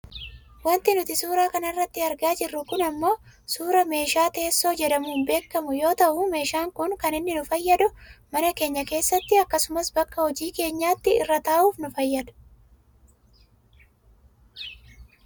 Wanti nuti suuraa kanarratti argaa jirru kun ammoo suuraa meehaa teessoo jedhamuun beekkamu yoo ta'u meeshaan kun kan inni nu fayyaduu mana keenya keessatti akkasumas bakka hojii keenyaatti irra taa'uuf nu fayyada.